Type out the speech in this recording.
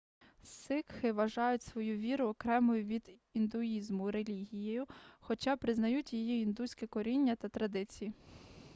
сикхи вважають свою віру окремою від індуїзму релігією хоча признають її індуське коріння та традиції